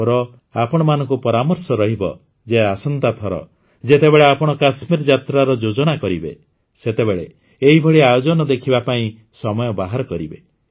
ମୋର ଆପଣମାନଙ୍କୁ ପରାମର୍ଶ ରହିବ ଯେ ଆସନ୍ତା ଥର ଯେତେବେଳେ ଆପଣ କାଶ୍ମୀର ଯାତ୍ରାର ଯୋଜନା କରିବେ ସେତେବେଳେ ଏହିଭଳି ଆୟୋଜନ ଦେଖିବା ପାଇଁ ସମୟ ବାହାର କରିବେ